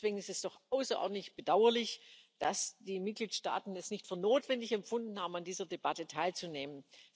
Deswegen ist es doch außerordentlich bedauerlich, dass die Mitgliedstaaten es nicht für notwendig erachtet haben, an dieser Debatte teilzunehmen.